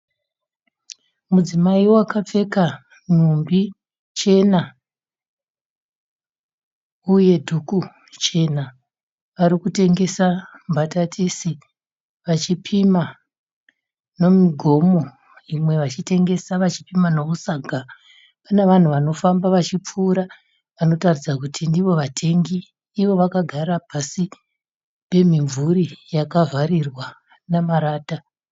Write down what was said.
Mudzimai vakapfeka nhumbi chena uye dhuku chena arikutengesa mbatatisi vachipima ne migomo imwe vachitengesa vachipima nemusaga kune vanhu vanofamba vachipfuura vanotaridza kuti ndiwo vatengi iwo vakagara pasi pemimvuri yakavharirwa nemarata